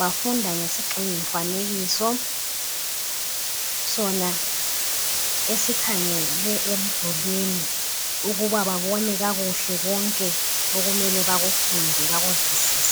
Bafunda ngesigxingi mfanekiso Sona esikhangele emdulini ,ukuba babone kakuhle konke okumele bakufunde bakuzwisise .